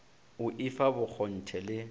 o i fa bokgonthe le